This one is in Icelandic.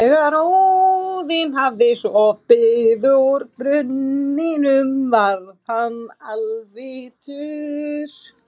Þegar Óðinn hafði sopið úr brunninum varð hann alvitur.